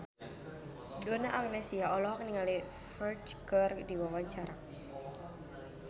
Donna Agnesia olohok ningali Ferdge keur diwawancara